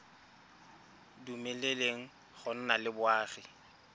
dumeleleng go nna le boagi